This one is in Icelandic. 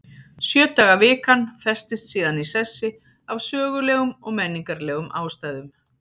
Sjö daga vikan festist síðan í sessi af sögulegum og menningarlegum ástæðum.